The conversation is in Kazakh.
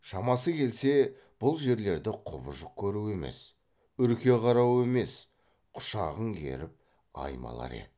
шамасы келсе бұл жерлерді құбыжық көру емес үрке қарау емес құшағын керіп аймалар еді